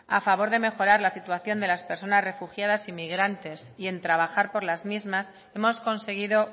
a favor de mejorar la situación de las personas refugiadas y migrantes y en trabajar por las mismas hemos conseguido